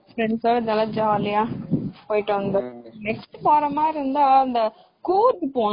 friends ஓட போனா ஜாலியா போயிட்டு வந்தவனே அடுத்து போறமாதிரி இருந்தா இந்த கூர்க் போனும்.